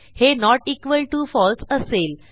हे not equal to फळसे असेल